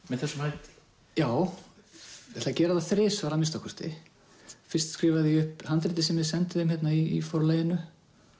með þessum hætti já ég ætla að gera það þrisvar að minnsta kosti fyrst skrifaði ég upp handritið sem ég sendi þeim í Forlaginu